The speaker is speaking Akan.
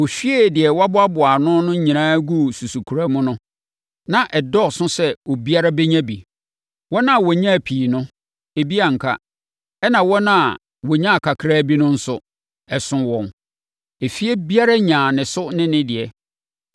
Wɔhwiee deɛ wɔaboaboa ano no nyinaa guu susukoraa mu no, na ɛdɔɔso sɛ obiara bɛnya bi. Wɔn a wɔnyaa pii no, ebi anka, ɛnna wɔn a wɔnyaa kakra bi no nso, ɛsoo wɔn. Efie biara nyaa ne so ne ne deɛ.